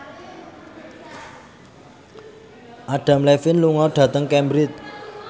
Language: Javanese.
Adam Levine lunga dhateng Cambridge